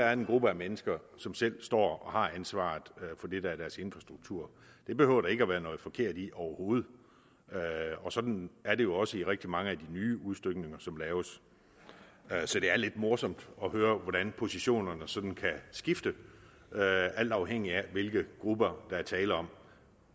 er en gruppe af mennesker som selv står og har ansvaret for det der er deres infrastruktur det behøver der ikke at være noget forkert i overhovedet og sådan er det jo også i rigtig mange af de nye udstykninger som laves så det er lidt morsomt at høre hvordan positionerne sådan kan skifte alt afhængigt af hvilke grupper der er tale om